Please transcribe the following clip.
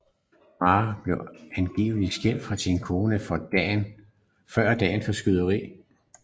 Merah blev angiveligt skilt fra sin kone få dage før skyderierne